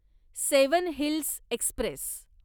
seven hills Express